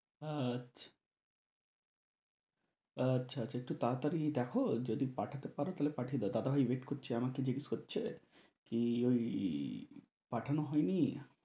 আচ্ছা আচ্ছা একটু তাড়াতাড়ি দেখো যদি পাঠাতে পারো তাহলে পাঠিয়ে দাও দাদাভাই wait করছে আমাকে জিজ্ঞেস করছে কি ওই পাঠানো হয় নি?